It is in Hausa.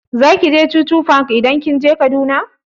Zaki je chuchu park idan kika je Kaduna?